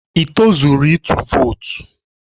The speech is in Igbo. Ị tozuru ịtụ vootu?